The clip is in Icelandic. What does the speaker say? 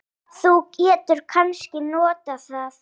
Þú getur kannski notað það.